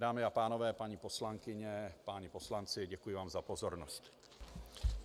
Dámy a pánové, paní poslankyně, páni poslanci, děkuji vám za pozornost.